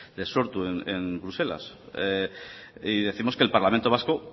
de sortu en bruselas y décimos que el parlamento vasco